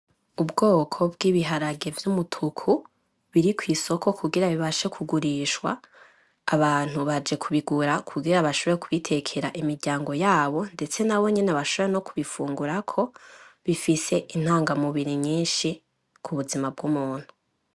Ubwoko bw'ibiharage vy'umutuku biri kw'isoko kugira bibashe kugurishwa, abantu baje kubigura kugira bashobore kubitekera imiryango yabo, ndetse nabo nyene bashobore no kubifungurako, bifise intangamubiri nyinshi ku buzima bw'umuntu.